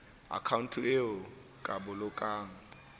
akhaonto eo o ka bolokang